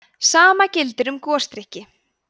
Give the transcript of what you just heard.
sama gildir um gosdrykki